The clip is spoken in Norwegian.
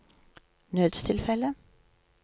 nødstilfelle